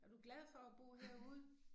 Er du glad for at bo herude?